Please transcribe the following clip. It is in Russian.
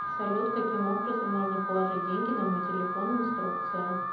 салют каким образом можно положить деньги на мой телефон инструкция